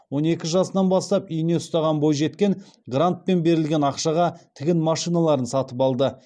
он екі жасынан бастап ине ұстаған бойжеткен грантпен берілген ақшаға тігін машиналарын сатып алды